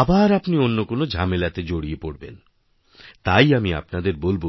আবার আপনিঅন্য কোনো ঝামেলাতে জড়িয়ে পড়বেন তাই আমি আপনাদের বলব